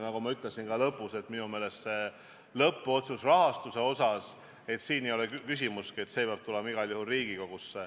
Nagu ma lõpus ka ütlesin, siis minu meelest ei ole rahastuse osas tehtava lõppotsuse puhul küsimustki – see peab tulema igal juhul Riigikogusse.